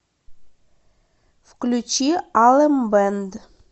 включи алем бэнд